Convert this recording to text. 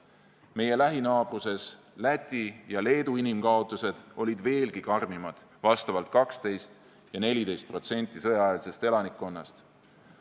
Meie lähinaabruse, Läti ja Leedu inimkaotused olid veelgi karmimad, vastavalt 12% ja 14% sõjaeelsest elanikkonnast.